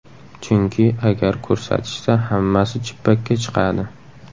Chunki agar ko‘rsatishsa, hammasi chippakka chiqadi.